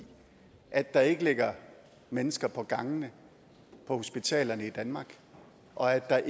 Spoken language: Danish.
at der ikke ligger mennesker på gangene på hospitalerne i danmark og at der